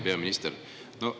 Hea peaminister!